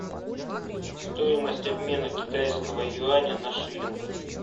стоимость обмена китайского юаня на шиллинг